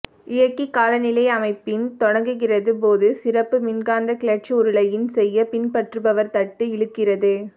இயக்கி காலநிலை அமைப்பின் தொடங்குகிறது போது சிறப்புப் மின்காந்த கிளட்ச் உருளையின் செய்ய பின்பற்றுபவர் தட்டு இழுக்கிறது